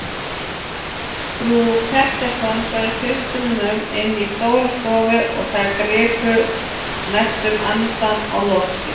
Frú Pettersson bauð systrunum inn í stóra stofu og þær gripu næstum andann á lofti.